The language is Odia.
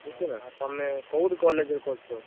ଓହୋ! ତମେ କୋଉଠି college ରେ କରୁଛ?